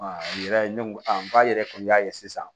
yɛrɛ ne ko k'a yɛrɛ kun y'a ye sisan